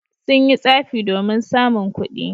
Sun yi tsafi domin samun kuɗi.